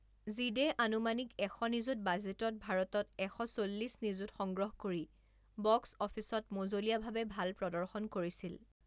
জিদে আনুমানিক এশ নিযুত বাজেটত ভাৰতত এশ চল্লিছ নিযুত সংগ্ৰহ কৰি বক্স অফিচত মজলীয়া ভাৱে ভাল প্ৰদৰ্শন কৰিছিল।